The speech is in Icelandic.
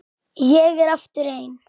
Ég er aftur ein.